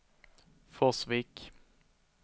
Forsvik